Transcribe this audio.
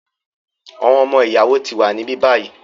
Àwọn ọmọ-ìyàwó ti wà níbí báyìí.